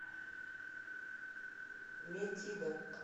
метида